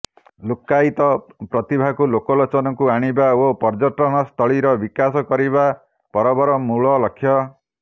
ଲୁକ୍କାୟିତ ପ୍ରତିଭାକୁ ଲୋକ ଲୋଚନ କୁ ଆଣିବା ଓ ପର୍ଯ୍ୟଟନସ୍ଥଳୀର ବିକାଶ କରିବା ପରବର ମୂଳ ଲକ୍ଷ୍ୟ